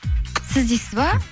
сіз іздейсіз ба